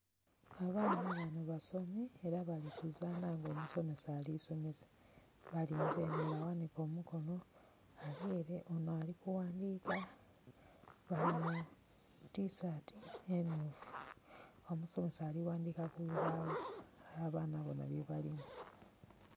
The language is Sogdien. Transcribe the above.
Abaana bano basomi era bali kuzanha nga omusomesa ali somesa. Balinze eno, ole aghanike omukono ali ere, ono ali kughandika. Bali mu tisaati emyufu. Omusomesa ali ghandika ku lubagho, aye abaana bona bye balimu.